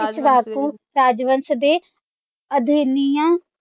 ਏਸ਼ਵਾਕੂ ਰਾਜਵੰਸ਼ ਦੇ